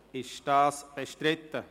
Ist dieser bestritten?